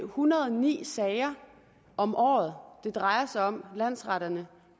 hundrede og ni sager om året det drejer sig om landsretterne